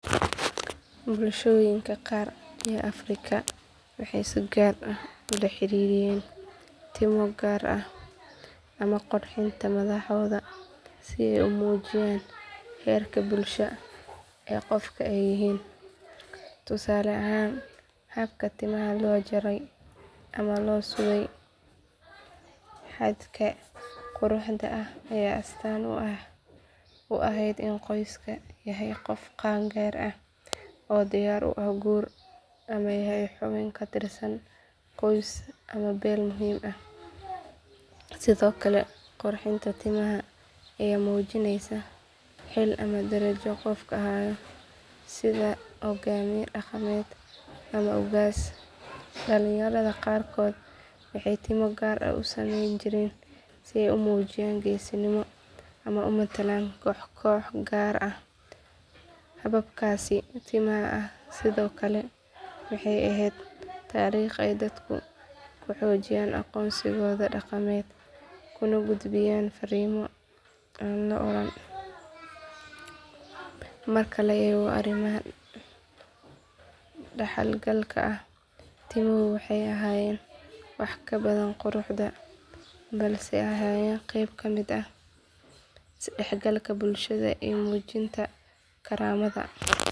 Bulshooyinka qaar ee Afrika waxay si gaar ah ula xiriiriyeen timo gaar ah ama qurxinta madaxooda si ay u muujiyaan heerka bulsho ee qofka ay yihiin. Tusaale ahaan habka timaha loo jaray ama loo sudhay xadhkaha quruxda ah ayaa astaan u ahayd in qofkaasi yahay qof qaan gaar ah oo diyaar u ah guur ama yahay xubin ka tirsan qoys ama beel muhiim ah. Sidoo kale qurxinta timaha ayaa muujinaysay xil ama darajo qofku hayo sida hogaamiye dhaqameed ama ugaas. Dhallinyarada qaarkoodna waxay timo gaar ah u samayn jireen si ay u muujiyaan geesinimo ama u matalaan koox gaar ah. Hababkaasi timaha ah sidoo kale waxay ahayd dariiq ay dadku ku xoojiyaan aqoonsigooda dhaqameed kuna gudbiyaan fariimo aan la oran. Marka la eego arrimahan dhaxalgalka ah timuhu waxay ahaayeen wax ka badan qurux balse ahaayeen qayb ka mid ah isdhexgalka bulshada iyo muujinta karaamada.